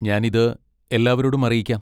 ഞാൻ ഇത് എല്ലാവരോടും അറിയിക്കാം.